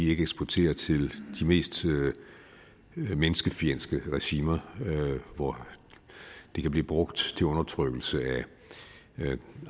ikke eksporterer til de mest menneskefjendske regimer hvor de kan blive brugt til undertrykkelse af